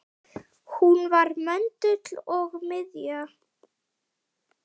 Hún var möndull og miðja.